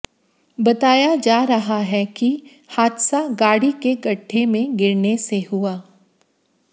बताया जा रहा है कि हादसा गाड़ी के गड्ढे में गिरने से हुआ